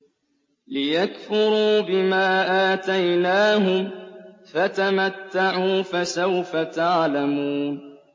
لِيَكْفُرُوا بِمَا آتَيْنَاهُمْ ۚ فَتَمَتَّعُوا ۖ فَسَوْفَ تَعْلَمُونَ